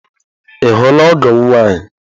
Ị hụla ọgọ m nwaanyị?